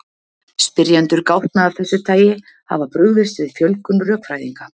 Spyrjendur gátna af þessu tagi hafa brugðist við fjölgun rökfræðinga.